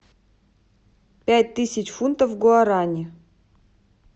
пять тысяч фунтов в гуарани